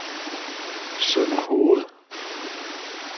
Sønderhoved